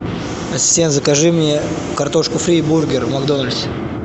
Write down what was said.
ассистент закажи мне картошку фри и бургер в макдональдсе